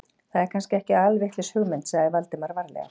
Það er kannski ekki alvitlaus hugmynd sagði Valdimar varlega.